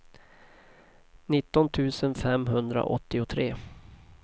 nitton tusen femhundraåttiotre